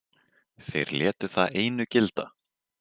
Þeir létu það einu gilda.